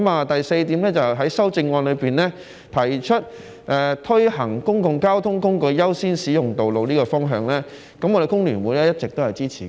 第四，修正案也提出推行公共交通工具優先使用道路的方向，我們工聯會一直也是支持的。